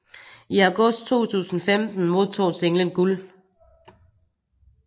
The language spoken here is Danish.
I august 2015 modtog singlen guld